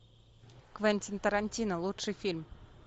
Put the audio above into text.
квентин тарантино лучший фильм